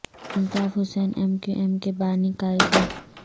Altaf Hussain M Q M کے بانی قائد ہیں